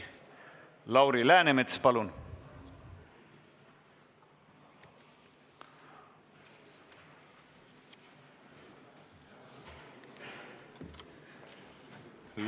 Lauri Läänemets, palun!